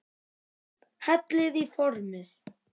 Hellið í formið.